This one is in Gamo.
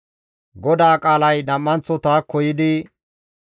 GODAA qaalay nam7anththo taakko yiidi,